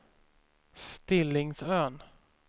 Stillingsön